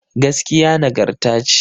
Gaskiya nagarta ce